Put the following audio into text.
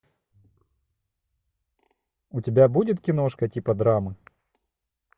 у тебя будет киношка типа драмы